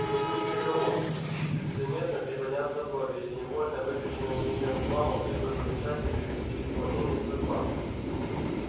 не будет никого чьи чуть заметно приподняться брови или невольно выпяченная нижняя губа могли бы помешать ей привести в исполнение свой план